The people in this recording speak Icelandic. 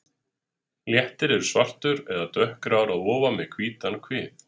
Léttir er svartur eða dökkgrár að ofan með hvítan kvið.